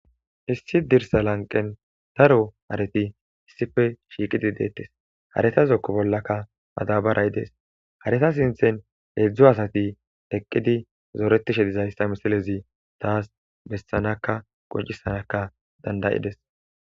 Issi dirsa lanqen daro hareti issife shiiqidi deettes hareta zokko bollaka madabaray dees hareta sinthen heedzdzo asati eqqidi zooretishe dizayssa misilezi taas bessanaka qoncisanaka dandayides.